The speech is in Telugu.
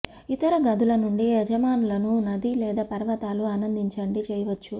ఇతర గదుల నుండి యజమానులను నది లేదా పర్వతాలు ఆనందించండి చేయవచ్చు